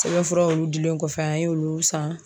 Sɛbɛnfuraw dilen kɔfɛ an y'olu san.